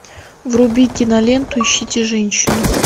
вруби киноленту ищите женщину